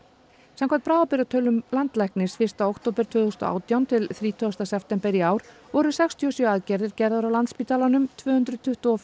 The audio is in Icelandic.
samkvæmt bráðabirgðatölum landlæknis fyrsta október tvö þúsund og átján til þrítugasta september í ár voru sextíu og sjö aðgerðir gerðar á Landspítalanum tvö hundruð tuttugu og